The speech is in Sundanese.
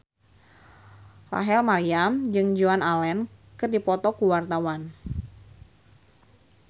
Rachel Maryam jeung Joan Allen keur dipoto ku wartawan